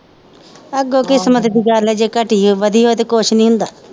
ਅੱਗੋਂ ਕਿਸਮਤ ਦੀ ਗੱਲ ਆ ਜੇ ਕਟੀ ਹੋਵੇ ਵਧੀ ਹੋਵੇ ਤੇ ਕੁਜ ਨੀ ਹੁੰਦਾ